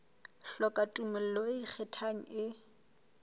hloka tumello e ikgethang e